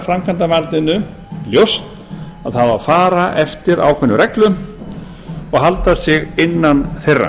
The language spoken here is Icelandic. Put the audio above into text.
framkvæmdarvaldinu ljóst að það á að fara eftir ákveðnum leiðum og halda sig innan þeirra